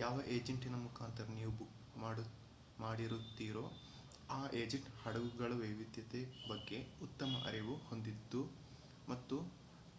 ಯಾವ ಏಜೆಂಟಿನ ಮುಖಾಂತರ ನೀವು ಬುಕ್ ಮಾಡಿರುತ್ತೀರೋ ಆ ಏಜೆಂಟ್ ಹಡಗುಗಳ ವೈವಿಧ್ಯತೆ ಬಗ್ಗೆ ಉತ್ತಮ ಅರಿವು ಹೊಂದಿದ್ದು ಮತ್ತು